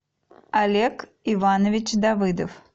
олег иванович давыдов